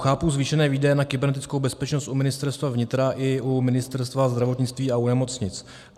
Chápu zvýšené výdaje na kybernetickou bezpečnost u Ministerstva vnitra i u Ministerstva zdravotnictví a u nemocnic.